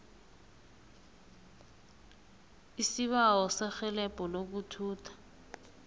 isibawo serhelebho lokuthutha